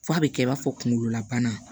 F'a bɛ kɛ i b'a fɔ kunkolola bana